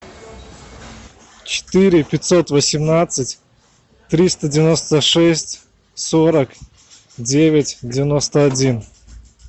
четыре пятьсот восемнадцать триста девяносто шесть сорок девять девяносто один